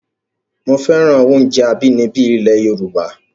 Mo féràn oúnjẹ abínibí ilẹ̀ Yorùbá